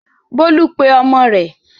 Bólú pe ọmọ rẹ̀?